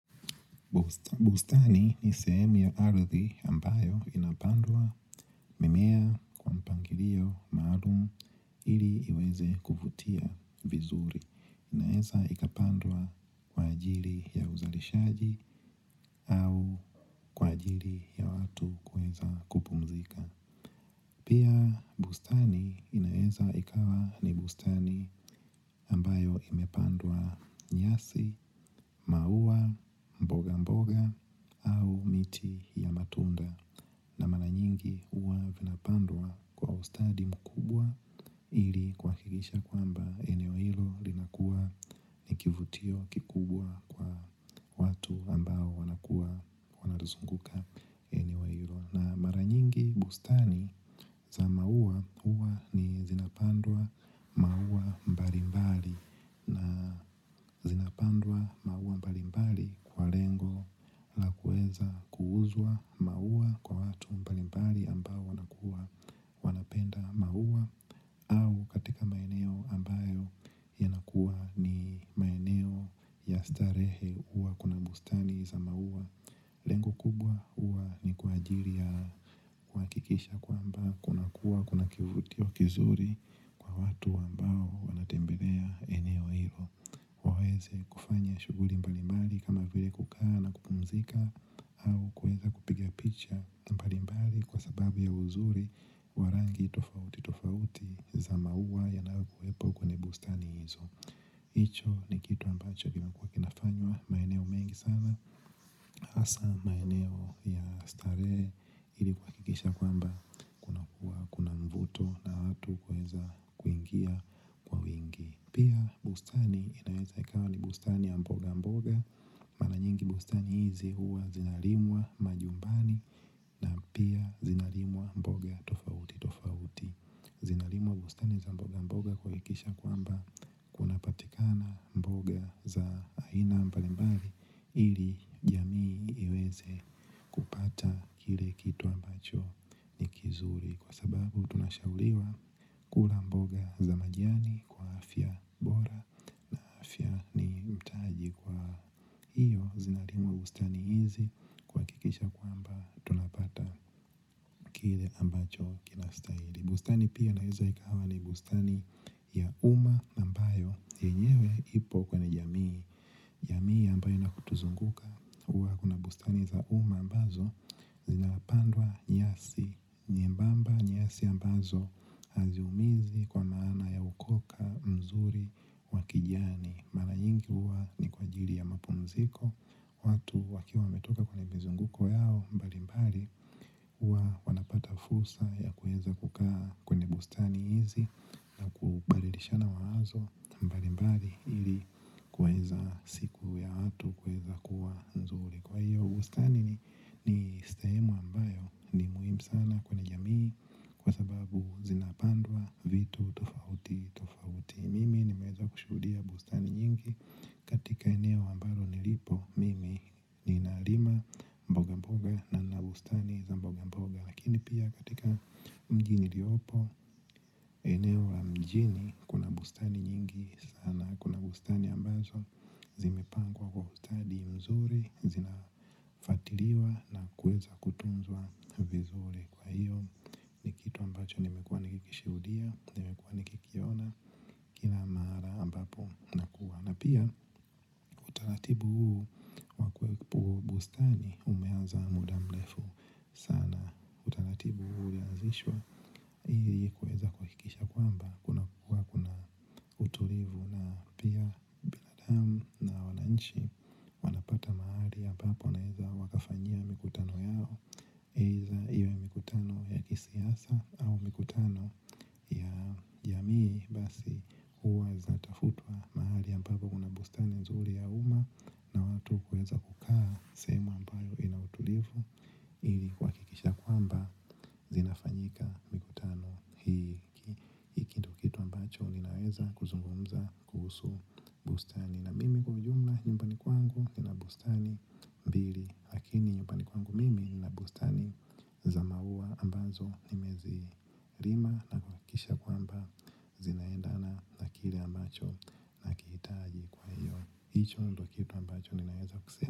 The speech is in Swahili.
Bustani ni sehemu ya ardhi ambayo inapandwa mimea kwa mpangilio maalum ili iweze kuvutia vizuri. Inaeza ikapandwa kwa ajiri ya uzalishaji au kwa ajiri ya watu kuweza kupumzika. Pia bustani inaeza ikawa ni bustani ambayo imepandwa nyasi, maua, mboga mboga au miti ya matunda na mara nyingi huwa vinapandwa kwa ustadi mkubwa ili kuhakikisha kwamba eneo hilo linakua ni kivutio kikubwa kwa watu ambao wanakua wanalizunguka eneo ilo. Na mara nyingi bustani za maua hua ni zinapandwa maua mbalimbali. Zinapandwa maua mbalimbali kwa lengo la kueza kuuzwa maua kwa watu mbalimbali ambao wanakua. Wanapenda maua katika maeneo ambayo yanakua ni maeneo ya starehe uwa kuna bustani za maua. Lengo kubwa uwa ni kwa ajiri ya kuhakikisha kwamba kunakua kuna kivutio kizuri. Kwa watu ambao wanatembelea eneo ilo waweze kufanya shuguri mbalimbali kama vile kukaa na kupumzika au kuweza kupiga picha mbalimbali kwa sababu ya uzuri wa rangi tofauti tofauti za maua yanayokuwepo kwenye bustani hizo icho ni kitu ambacho kinakua kinafanywa maeneo mengi sana asa maeneo ya starehe ili kuhakikisha kwamba kunakua kuna mvuto na watu kuweza kuingia kwa wingi pia bustani inaeza ikawa ni bustani ya mboga mboga mara nyingi bustani hizi huwa zinarimwa manyumbani na pia zinarimwa mboga tofauti tofauti. Zinarimwa bustani za mboga mboga kuhakikisha kwamba kunapatikana mboga za aina mbalimbali ili jamii iweze kupata kile kitu ambacho ni kizuri kwa sababu tunashauriwa kula mboga za majani kwa afya bora na afya ni mtaji kwa hio zinalimwa bustani hizi kuhakikisha kwamba tunapata kile ambacho kinastahili. Bustani pia inaweza ikawa ni bustani ya umma ambayo yenyewe ipo kwenye jamii, jamii ambayo inatuzunguka hua kuna bustani za uma ambazo zinapandwa nyasi nyembamba nyasi ambazo haziumizi kwa maana ya ukona mzuri wa kijani mara nyingi hua ni kwa ajili ya mapumziko watu wakiwa wametoka kwenye mazunguko yao mbalimbali huwa wanapata fursa ya kuweza kukaa kwenye bustani hizi kuweza siku ya watu kuweza kua nzuri kwa hivyo bustani ni sehemu ambayo ni muhimu sana kwenye jamii kwa sababu zinapandwa vitu tofauti tofauti mimi nimeweza kushuhudia bustani nyingi katika eneo ambalo nilipo mimi ninalima mboga mboga na nina bustani za mboga mboga lakini pia katika mji niliopo eneo la mjini kuna bustani nyingi sana, kuna bustani ambazo zimepangwa kwa ustadi mzuri zinafwatiliwa na kuweza kutunzwa vizuri kwa hio ni kitu ambacho nimekua nikikishuhudia nimekua nikikiona kila mara ambapo nakua na pia utaratibu huu wa huu bustani umeanza mudaa mrefu sana kuhakikisha kwamba hua kuna utulivu na pia binadamu na wananchi wanapata mahali ambapo wanaweza wakafanyia mikutano yao iwe ni mikutano ya kisiasa au ya kijamii basi hua zinatafutwa mahali ambapo kuna bustani nzuri ya uma na watu kuweza kukaa sehemu ambayo ina utulivu ili kuhakikisha ya kwamba zinafanyika mikutano hii ndio kitu ambacho ninaweza kuzungumza kuhusu bustani na mimi kwa ujumla nyumbani kwangu nina bustani mbili lakini nyumbani kwangu mimi nina bustani za maua ambazo nimezilima na kuhakikisha ya kwamba zinaendana na kile ambacho nakihitaji.